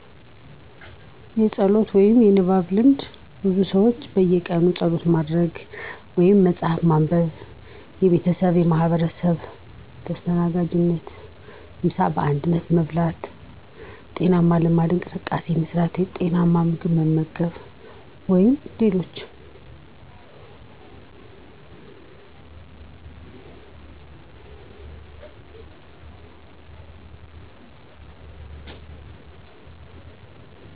የጸሎት ወይም ንባብ ልማድ ብዙ ሰዎች በየቀኑ ጸሎት ማድረግ ወይም መጽሐፍ ማንበብ የቤተሰብ ማኅበረሰብ ተስተናጋጅነት ምሳ በአንድነት መብላት፣ ጤናማ ልማድ እንቅስቃሴ መስራት፣ የጤናማ ምግብ መመገብ ወይም ሌሎች